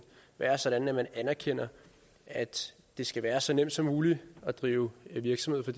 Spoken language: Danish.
være sådan at man anerkender at det skal være så nemt som muligt at drive virksomhed for